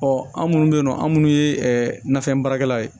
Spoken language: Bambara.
Ɔ an minnu bɛ yen nɔ an minnu ye nafɛn baarakɛlaw ye